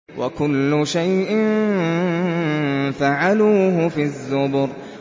وَكُلُّ شَيْءٍ فَعَلُوهُ فِي الزُّبُرِ